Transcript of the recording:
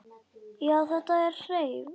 Já, þetta hreif!